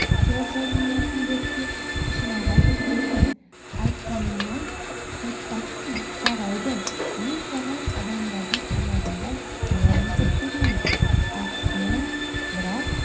жазылмайтын дертке ұшыраған екенсің айтқаныңнан қайтпассың жарайды мен саған адамдардың аяғындай аяқ жасап берейін ақысына бірақ